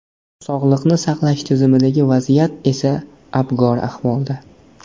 Sog‘liqni saqlash tizimidagi vaziyat esa abgor ahvolda.